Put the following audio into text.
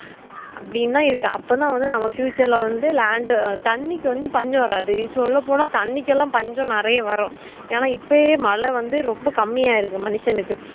அபுடினா இருக்கேன் அப்போ நாவந்து future ல land தண்ணிக்கு வந்து பஞ்சம்வராது இப்போ சொல்லபோன தன்னிகெலாம் பஞ்சம் நெறைய வரும் என்னனா இப்வே நெறைய மழை வந்து ரொம்ப கம்மியா இருக்கு மனுஷனுக்கு